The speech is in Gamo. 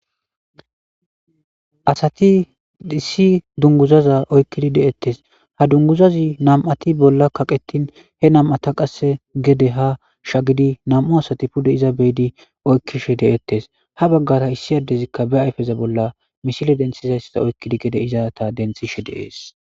asati issi dunguzaza oykkidi deettes ha dunguzazi nam7ati bolla kaqetin he nam7ata qasse gede ha shagidi nam7u asati pude iza beedi oykkishe de7ettes ha baggara issi addezikka be ayfeza bolla mishile denthizayssada oykkidi gede iza ta denthishe deees